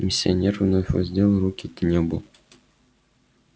миссионер вновь воздел руки к небу